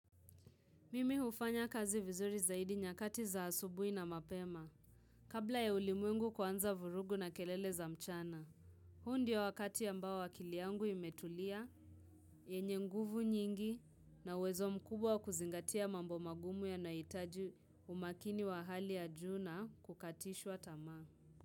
Mimi hufanya kazi vizuri zaidi nyakati za asubuhi na mapema. Kabla ya ulimwengu kuanza vurugu na kelele za mchana. Huo ndio wakati ambao akili yangu imetulia, yenye nguvu nyingi na uwezo mkubwa wa kuzingatia mambo magumu yanayohitaji umakini wa hali ya ju na kukatishwa tamaa.